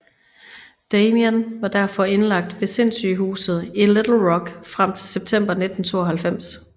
Damien var derfor indlagt ved sindssygehuset i Little Rock frem til september 1992